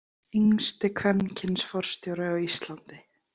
Yngsti kvenkyns forstjóri á Íslandi.